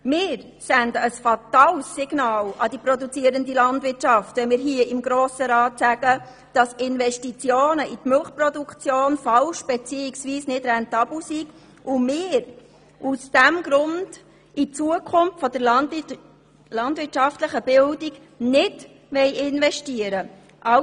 Wir würden ein fatales Signal an die produzierende Landwirtschaft senden, wenn wir im Grossen Rat sagten, dass Investitionen in die Milchproduktion falsch bzw. nicht rentabel seien und wir aus diesem Grund nicht in die Zukunft der landwirtschaftlichen Bildung investieren wollten.